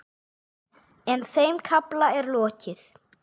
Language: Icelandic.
En þeim kafla er lokið.